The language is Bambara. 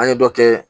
An ye dɔ kɛ